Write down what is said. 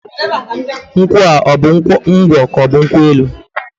Nkwụa ọbụ ngwọ k'ọbụ nkwụ enu?